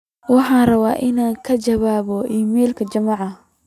waxaan rabaa in aan ka jawaabo iimaylka juma